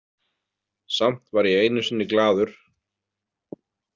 Samt var ég einu sinni glaður.